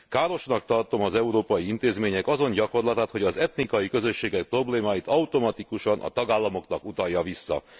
Károsnak tartom az európai intézmények azon gyakorlatát, hogy az etnikai közösségek problémáit automatikusan a tagállamoknak utalják vissza.